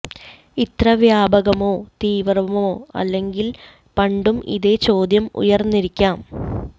ഇത്ര വ്യാപകമോ തീവ്രമോ അല്ലെങ്കിലും പണ്ടും ഇതേ ചോദ്യം ഉയര്ന്നിരിക്കാം